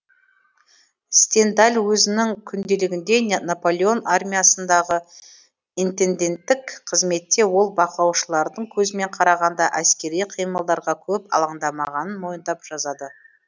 стендаль өзінің күнделігінде наполеон армиясындағы интенденттік қызметте ол бақылаушылардың көзімен қарағанда әскери қимылдарға көп алаңдамағанын мойындап жазады